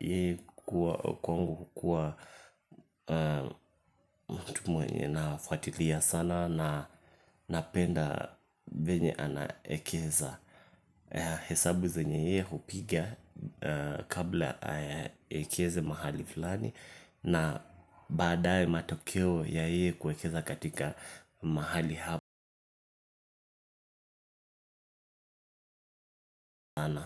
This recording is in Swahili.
E kuwa kwangu kuwa mtu mwenye na fuatilia sana na napenda venye ana ekeza hesabu zenye yee hupiga kabla ekeze mahali fulani na baadaye matokeo ya yeye kuekeza katika mahali ha.